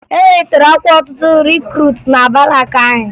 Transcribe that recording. E welitere ọkwa ọtụtụ rikruutu na barakụ anyị